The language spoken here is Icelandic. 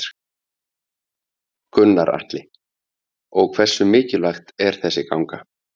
Gunnar Atli: Og hversu mikilvægt er þessi ganga?